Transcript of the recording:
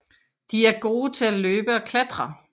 De er gode til at løbe og klatre